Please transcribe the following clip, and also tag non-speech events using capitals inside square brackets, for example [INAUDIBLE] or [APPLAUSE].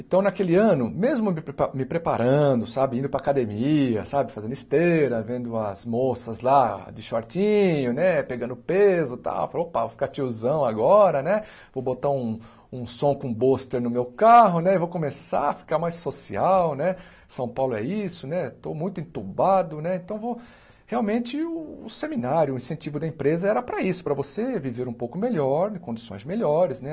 Então, naquele ano, mesmo me pepa me preparando, sabe, indo para a academia, sabe, fazendo esteira, vendo as moças lá de shortinho, né, pegando peso e tal, eu falei, opa, vou ficar tiozão agora, né, vou botar um um som com [UNINTELLIGIBLE] no meu carro, né, e vou começar a ficar mais social, né, São Paulo é isso, né, estou muito entubado, né, então vou realmente o seminário, o incentivo da empresa era para isso, para você viver um pouco melhor, em condições melhores, né.